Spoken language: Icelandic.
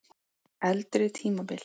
Eldri tímabil